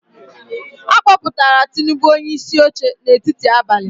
A kpọpụtara Tinubu onyeisi oche n’etiti abalị.